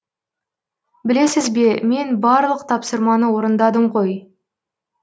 білесіз бе мен барлық тапсырманы орындадым ғой